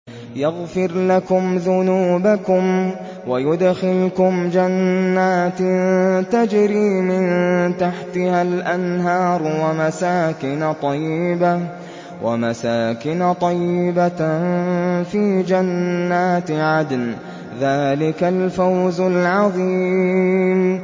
يَغْفِرْ لَكُمْ ذُنُوبَكُمْ وَيُدْخِلْكُمْ جَنَّاتٍ تَجْرِي مِن تَحْتِهَا الْأَنْهَارُ وَمَسَاكِنَ طَيِّبَةً فِي جَنَّاتِ عَدْنٍ ۚ ذَٰلِكَ الْفَوْزُ الْعَظِيمُ